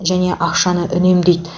және ақшаны үнемдейді